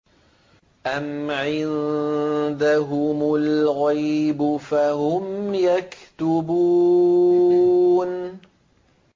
أَمْ عِندَهُمُ الْغَيْبُ فَهُمْ يَكْتُبُونَ